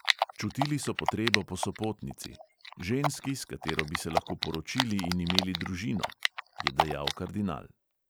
"Čutili so potrebo po sopotnici, ženski, s katero bi se lahko poročili in imeli družino," je dejal kardinal.